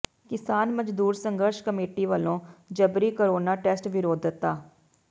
ਕਿਸਾਨ ਮਜ਼ਦੂਰ ਸੰਘਰਸ਼ ਕਮੇਟੀ ਵੱਲੋਂ ਜਬਰੀ ਕੋਰੋਨਾ ਟੈਸਟ ਵਿਰੋਧਤਾ